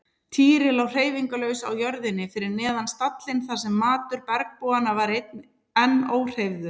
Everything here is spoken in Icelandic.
Týri lá hreyfingarlaus á jörðinni fyrir neðan stallinn þar sem matur bergbúanna var enn óhreyfður.